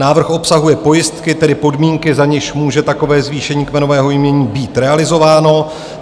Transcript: Návrh obsahuje pojistky, tedy podmínky, za nichž může takové zvýšení kmenového jmění být realizováno.